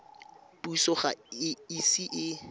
puso ga e ise e